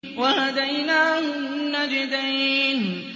وَهَدَيْنَاهُ النَّجْدَيْنِ